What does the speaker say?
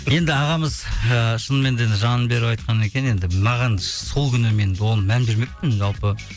енді ағамыз ыыы шынымен де енді жанын беріп айтқаннан кейін енді маған сол күні мен оған мән бермеппін жалпы